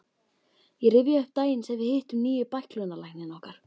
Ég rifja upp daginn sem við hittum nýja bæklunarlækninn okkar.